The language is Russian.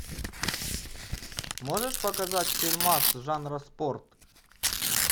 можешь показать фильмас жанра спорт